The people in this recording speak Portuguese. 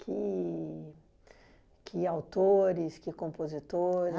Que que autores, que compositores?